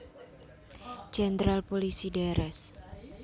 Jenderal Pulisi Drs